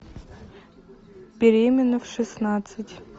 беременна в шестнадцать